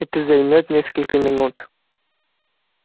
это займёт несколько минут